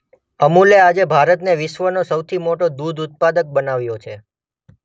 અમૂલે આજે ભારતને વિશ્વનો સૌથી મોટો દૂધ ઉત્પાદક બનાવ્યો છે.